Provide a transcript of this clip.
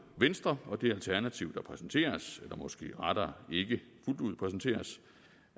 venstre og det alternativ der præsenteres eller måske rettere ikke fuldt ud præsenteres